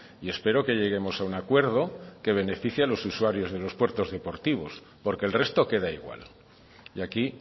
y espero que lleguemos a un acuerdo que beneficie a los usuarios de los puertos deportivos porque el resto queda igual y aquí